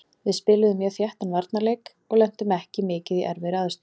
Við spiluðum mjög þéttan varnarleik og lentum ekki mikið í erfiðri aðstöðu.